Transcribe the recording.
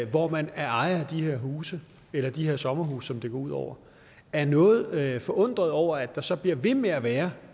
hvor man er ejer af de her huse eller de her sommerhuse som det går ud over er noget forundret over at der så bliver ved med at være